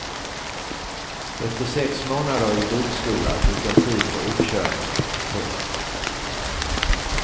Efter sex månader i bilskola fick jag tid för uppkörning. punkt